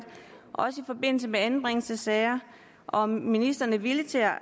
også i forbindelse med anbringelsessager og om ministeren er villig til at